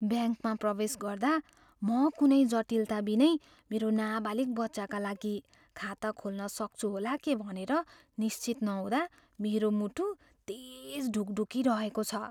ब्याङ्कमा प्रवेश गर्दा, म कुनै जटिलता बिनै मेरो नाबालिग बच्चाका लागि खाता खोल्न सक्छु होला के भनेर निश्चित नहुँदा मेरो मुटु तेज ढुकढुकी रहेको छ।